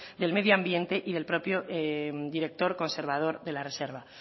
del medio ambiente y el propio director conservador de la reserva